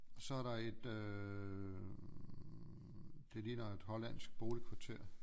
Og så er der et øh det ligner et hollandsk boligkvarter